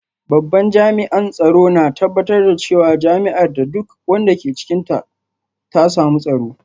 Babban jami’an tsaro na tabbatar da cewa jami’ar da duk wanda ke cikinta ta samu tsaro